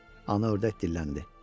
Ana ördək dilləndi.